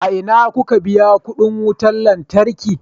A ina kuka biya kuɗin wutar lantarki?